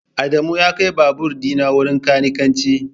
Adamu ya kai babur dina wurin kanikanci